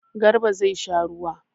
Garba zai sha ruwa.